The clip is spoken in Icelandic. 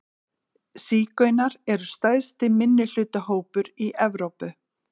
Sígaunar eru stærsti minnihlutahópur í Evrópu.